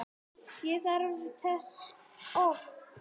Ég þarf þess oft.